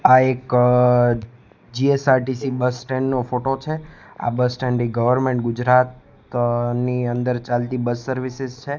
આ એક G S R T C bus stand નો ફોટો છે આ બસસ્ટેન્ડ એ ગર્વમેન્ટ ગુજરાતની અંદર ચાલતી બસ સર્વિસીસ છે.